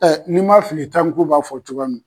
ni ma fili tanku b'a fɔ cogoya n